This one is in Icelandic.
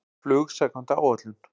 Flug samkvæmt áætlun